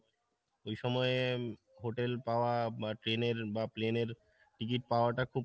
ওই সময়ে hotel পাওয়া বা train এর বা প্লেনের ticket পাওয়াটা খুব